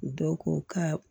Dɔw ko ka